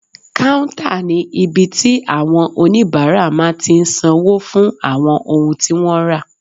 Káúntà ní ibi tí àwọn oníbàárà máa tí n sanwó fún àwọn ohun tí wọ́n rà